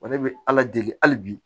O de bɛ ala deli hali bi